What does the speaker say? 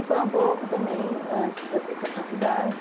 E foi um pouco também antes de eu vir para a faculdade.